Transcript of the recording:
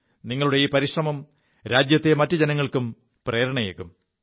നിങ്ങളുടെ ഈ പരിശ്രമം രാജ്യത്തെ മറ്റു ജനങ്ങൾക്കും പ്രേരണയേകും